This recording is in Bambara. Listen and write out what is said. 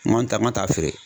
N taa n ka taa feere.